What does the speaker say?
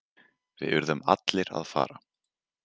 Við urðum allir að fara.